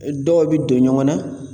Dɔw bɛ don ɲɔgɔn na